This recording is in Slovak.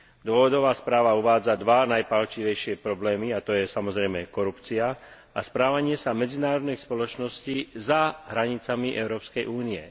Dôvodová správa uvádza dva najpálčivejšie problémy a to je samozrejme korupcia a správanie sa medzinárodných spoločností za hranicami Európskej únie.